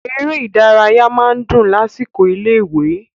Eré ìdárayá máa ń dùn lásìkò ilé-ìwé.